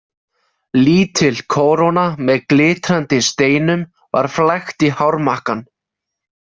Lítil kóróna með glitrandi steinum var flækt í hármakkann.